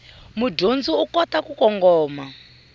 mudyondzi u kota ku kongoma